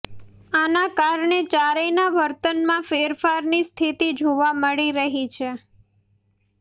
આના કારણે ચારેયના વર્તનમાં ફેરફારની સ્થિતિ જોવા મળી રહી છે